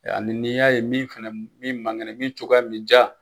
Ani n'i y'a ye min man kɛnɛ min cogoya min ja.